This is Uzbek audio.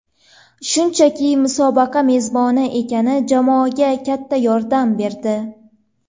Shunchaki musobaqa mezboni ekani jamoaga katta yordam berdi.